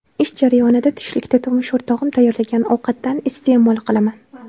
Ish jarayonida tushlikda turmush o‘rtog‘im tayyorlagan ovqatdan iste’mol qilaman.